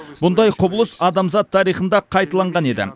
мұндай құбылыс адамзат тарихында қайталанған еді